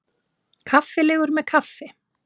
Kaffilegur með kaffi.